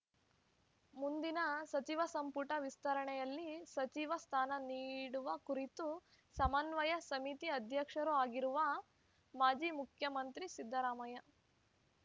ಮುಂದಿನ ಸಚಿವ ಸಂಪುಟ ವಿಸ್ತರಣೆಯಲ್ಲಿ ಸಚಿವ ಸ್ಥಾನ ನೀಡುವ ಕುರಿತು ಸಮನ್ವಯ ಸಮಿತಿ ಅಧ್ಯಕ್ಷರೂ ಆಗಿರುವ ಮಾಜಿ ಮುಖ್ಯಮಂತ್ರಿ ಸಿದ್ದರಾಮಯ್ಯ